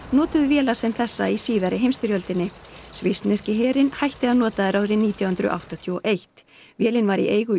notuðu vélar sem þessa í síðari heimsstyrjöldinni svissneski herinn hætti að nota þær árið nítján hundruð áttatíu og eitt vélin var í eigu